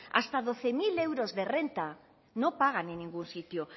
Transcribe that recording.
hasta doce mil euros de renta no pagan en ningún sitio